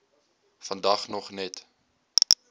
vandag nog net